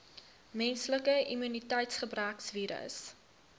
menslike immuniteitsgebrekvirus